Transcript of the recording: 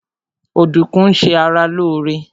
Ọdùkún ń ṣe ara lóóre